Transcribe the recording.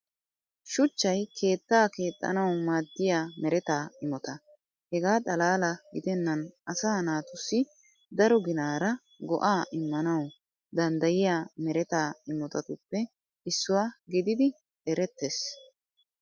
Shuchchay keettaa keexxanawu maadiya mereta imota. Hegaa xalaala gidennan asaa naatussi daro ginnaara go"aa immanawu danddayiyaa mereta immotatuppe issuwaa gididi eretees.